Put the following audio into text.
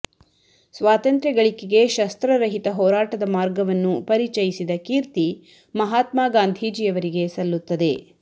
ಸ್ವಾತಂತ್ರ್ಯ ಗಳಿಕೆಗೆ ಶಸ್ತ್ರರಹಿತ ಹೋರಾ ಟದ ಮಾರ್ಗವನ್ನು ಪರಿಚಯಿಸಿದ ಕೀರ್ತಿ ಮಹಾತ್ಮಾಗಾಂಧೀಜಿಯವರಿಗೆ ಸಲ್ಲುತ್ತದೆ